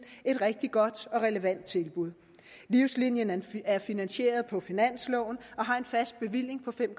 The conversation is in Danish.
et rigtig godt og relevant tilbud livslinien er finansieret på finansloven og har en fast bevilling på fem